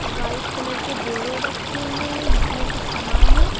White colour के बोरे रखे हुए हैं जिसमें कुछ सामान है।